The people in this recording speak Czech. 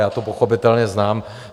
Já to pochopitelně znám.